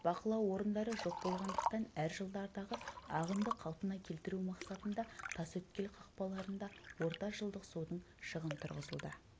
бақылау орындары жоқ болғандықтан әр жылдардағы ағынды қалпына келтіру мақсатында тасөткел қақпаларында орта жылдық судың шығын тұрғызылды